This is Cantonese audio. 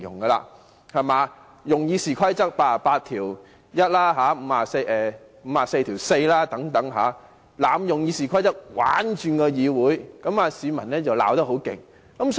他們利用《議事規則》第881條、第544條等，透過濫用《議事規則》"玩轉"議會，市民已經批評得很厲害。